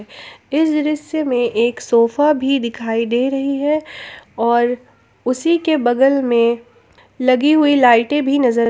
इस दृश्य में एक सोफा भी दिखाई दे रही है और उसी के बगल में लगी हुई लाइटें भी नजर--